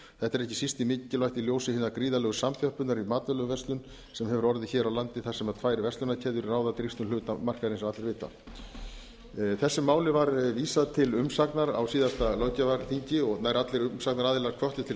þetta er ekki síst mikilvægt í ljósi hinnar gríðarlegu samþjöppunar í matvælaverslun sem hefur orðið hér á landi þar sem tvær verslunarkeðjur ráða drýgstum hluta markaðarins eins og allir vita þessu mál var vísað til umsagnar á síðasta löggjafarþingi og nær allir umsagnaraðilar hvöttu til